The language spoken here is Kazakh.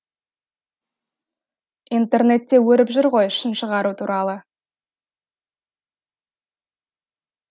интернетте өріп жүр ғой жын шығару туралы